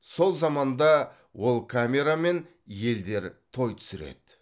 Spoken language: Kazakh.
сол заманда ол камерамен елдер той түсіреді